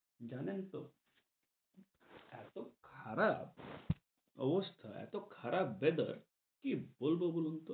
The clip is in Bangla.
জানেন তো? এত খারাপ অবস্থা এত খারাপ weather কি বলব বলুন তো?